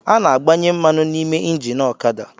A na-agbanye mmanụ n’ime engini ọkada